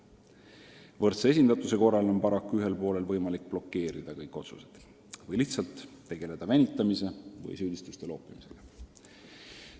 Võrdse esindatuse korral on paraku ühel poolel võimalik blokeerida kõik otsused või lihtsalt tegeleda venitamise või süüdistuste loopimisega.